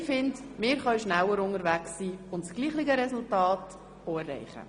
Ich finde, wir können schneller unterwegs sein und das gleiche Resultat erreichen.